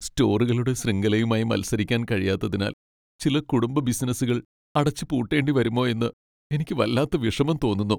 സ്റ്റോറുകളുടെ ശൃംഖലയുമായി മത്സരിക്കാൻ കഴിയാത്തതിനാൽ ചില കുടുംബ ബിസിനസ്സുകൾ അടച്ചുപൂട്ടേണ്ടി വരുമോ എന്ന് എനിക്ക് വല്ലാത്ത വിഷമം തോന്നുന്നു.